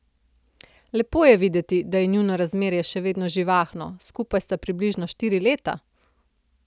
Lepo je videti, da je njuno razmerje še vedno živahno, skupaj sta približno štiri leta.